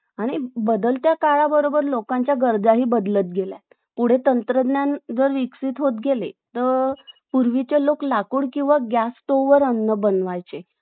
आणि बदलत्या काळाबरोबर लोकांच्या गरजही बदलत गेल्या आहेत पुढे तंत्रज्ञान जर विकसित होत गेले तर पूर्वीचे लोक लाकूड किंवा गॅसवर अन्न बनवायचे